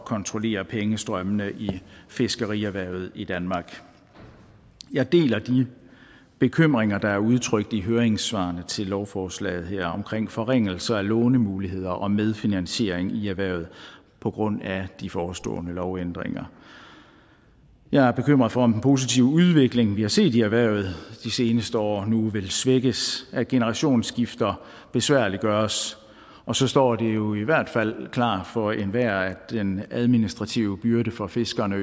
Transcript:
kontrollere pengestrømmene i fiskerierhvervet i danmark jeg deler de bekymringer der er udtrykt i høringssvarene til lovforslaget her omkring forringelser af lånemuligheder og medfinansiering i erhvervet på grund af de forestående lovændringer jeg er bekymret for om den positive udvikling vi har set i erhvervet de seneste år nu vil svækkes af at generationsskifter besværliggøres og så står det jo i hvert fald klart for enhver at den administrative byrde for fiskerne